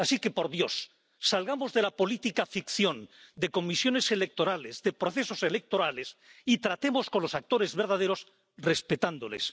Así que, por Dios, salgamos de la política ficción, de comisiones electorales, de procesos electorales y tratemos con los actores verdaderos respetándoles.